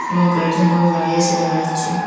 এবং কয়েকজন লোক দাঁড়িয়ে আছে দেখা যাচ্ছে।